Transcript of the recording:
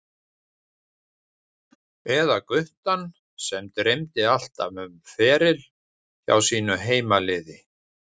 Eða guttann sem dreymdi alltaf um feril hjá sínu heimaliði?